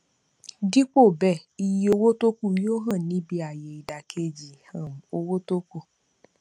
dípò bẹẹ iye owó tókù yóò hàn níbí ayé ìdàkejì um owó tókù